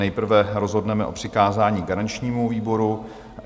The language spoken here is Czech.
Nejprve rozhodneme o přikázání garančnímu výboru.